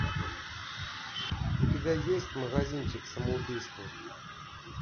у тебя есть магазинчик самоубийств